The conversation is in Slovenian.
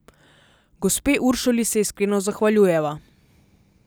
Gospe Uršuli se iskreno zahvaljujeva.